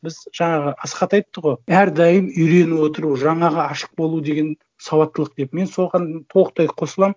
біз жаңағы асхат айтты ғой әрдайым үйреніп отыру жаңаға ашық болу деген сауаттылық деп мен соған толықтай қосыламын